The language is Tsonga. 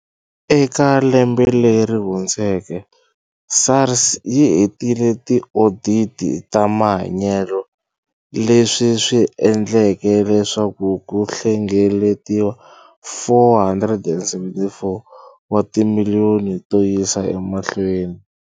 Eka lembe leri hundzeke, SARS yi hetile tioditi ta mahanyelo leswi swi endleke leswaku ku hlengeletiwa R474 wa timiliyoni to yisa emahlweni.